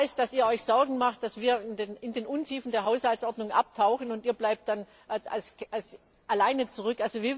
Ich weiß, dass ihr euch Sorgen macht, dass wir in den Untiefen der Haushaltsordnung abtauchen, und ihr bleibt dann allein zurück.